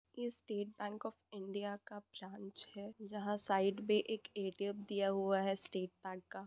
ये State Bank of India का branch है जहां साइड मे एक ए.टी.एम. दिया हुआ है स्टेट बैंक का --